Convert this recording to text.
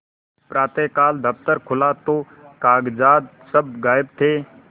प्रातःकाल दफ्तर खुला तो कागजात सब गायब थे